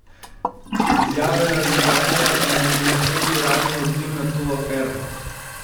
Izjave Laridžanija naj bi bile prvi uradni odziv na to afero.